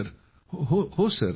जी